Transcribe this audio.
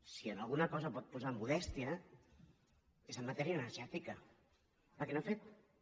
si en alguna cosa pot posar modèstia és en matèria energètica perquè no ha fet re